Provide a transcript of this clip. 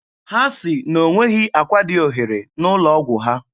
Ha sị na o nweghị akwa dị ohere n'ụlọ ọgwụ ha.